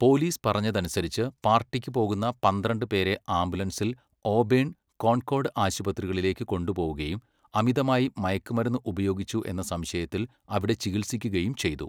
Police പറയുന്നതനുസരിച്ച്, പാർട്ടിക്ക് പോകുന്ന പന്ത്രണ്ട് പേരെ ആംബുലൻസിൽ ഓബേൺ, കോൺകോർഡ് ആശുപത്രികളിലേക്ക് കൊണ്ടുപോവുകയും അമിതമായി മയക്കുമരുന്ന് ഉപയോഗിച്ചു എന്ന സംശയത്തിൽ അവിടെ ചികിത്സിക്കുകയും ചെയ്തു.